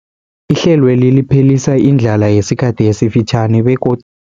Ihlelweli liphelisa indlala yesikhathi esifitjhani begod